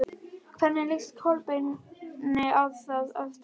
Hvernig líst Kolbeini á þá andstæðinga?